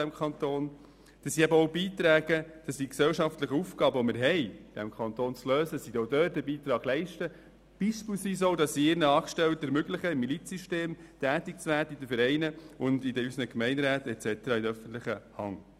Sie sollen auch einen Beitrag an die gesellschaftlichen Aufgaben in unserem Kanton leisten und beispielsweise ihren Angestellten auch ermöglichen, im Milizsystem tätig zu werden, in den Vereinen, unseren Gemeinderäten und weiteren Institutionen der öffentlichen Hand.